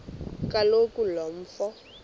kaloku lo mfo